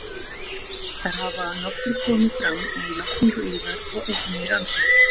Þær hafa að nokkru komið fram með játningu yðar og einnig í rannsókn